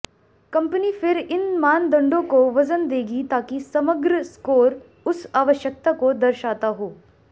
company फिर इन मानदंडों को वज़न देगी ताकि समग्र स्कोर उस आवश्यकता को दर्शाता हो